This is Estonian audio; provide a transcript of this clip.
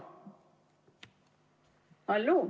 Halloo!